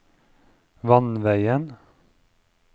vannveien